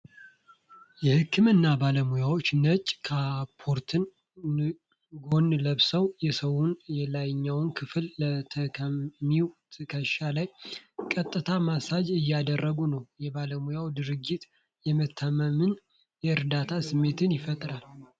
የህክምና ባለሙያ ነጭ ካፖርትና ጓንት ለብሰው፣ የሰውነት የላይኛውን ክፍል ለታካሚው ትከሻ ላይ ቀጥታ ማሳጅ እያደረጉ ነው። የባለሙያው ድርጊት የመተማመንና የእርዳታ ስሜትን ይፈጥራል።